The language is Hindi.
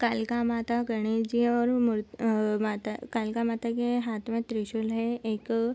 कलिका माता गणेश जी और मूर कलिका माता के हाथ में त्रिशूल है।